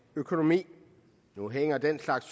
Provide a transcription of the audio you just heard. økonomi nu hænger den slags